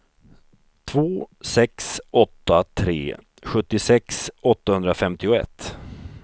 två sex åtta tre sjuttiosex åttahundrafemtioett